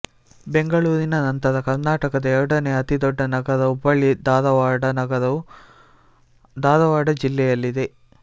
ಬೆಂಗಳೂರಿನ ನಂತರ ಕರ್ನಾಟಕದ ಎರಡನೇ ಅತಿ ದೊಡ್ಡ ನಗರ ಹುಬ್ಬಳ್ಳಿಧಾರವಾಡ ನಗರವು ಧಾರವಾಡ ಜಿಲ್ಲೆಯಲ್ಲಿದೆ